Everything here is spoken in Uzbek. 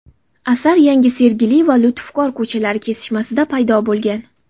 Asar Yangi Sergeli va Lutfkor ko‘chalari kesishmasida paydo bo‘lgan.